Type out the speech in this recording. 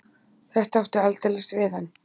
Þetta átti aldeilis við hann.